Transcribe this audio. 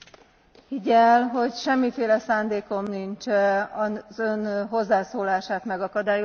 Higgye el, hogy semmiféle szándékom nincs az Ön hozzászólását megakadályozni.